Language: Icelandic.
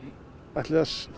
það